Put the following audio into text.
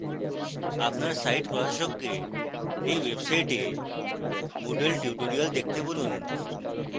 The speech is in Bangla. আপনার site প্রশাসককে এই website moodle tutorials দেখতে বলুন